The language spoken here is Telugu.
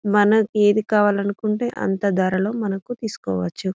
మనకి ఏది కావాలంటే అంత ధరలో మనకు తీసుకోవచ్చు .